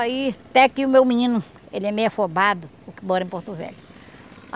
Aí até que o meu menino, ele é meio afobado, o que mora em Porto Velho.